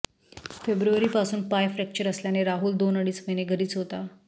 फेब्रूवारी पासून पाय फ्रैक्चर असल्याने राहुल दोन अडीच महीने घरीच होता